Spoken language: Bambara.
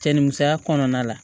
Cɛ ni musoya kɔnɔna la